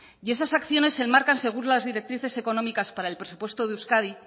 y esas acciones se marcan según las directrices económicas para el presupuesto de euskadi